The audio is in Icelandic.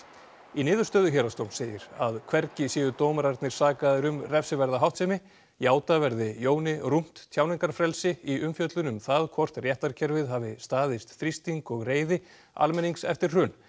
í niðurstöðu Héraðsdóms segir að hvergi séu dómararnir sakaðir um refsiverða háttsemi játa verði Jóni rúmt tjáningarfrelsi í umfjöllun um það hvort réttarkerfið hafi staðist þrýsting og reiði almennings eftir hrun